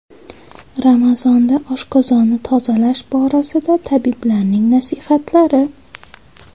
Ramazonda oshqozonni tozalash borasida tabiblarning nasihatlari.